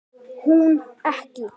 Hún ekki.